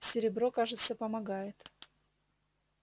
серебро кажется помогает